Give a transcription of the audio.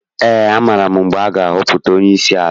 Ee, amaara m mgbe a ga-ahọpụta onyeisi ala.